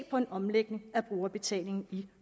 på en omlægning af brugerbetalingen i